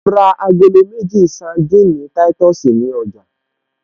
Mo ra agolo méjì sandini táìtọ̀sì ní ọjà